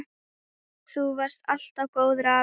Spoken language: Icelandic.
Þú varst alltaf góður afi.